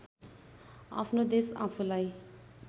आफ्नो देश आफूलाई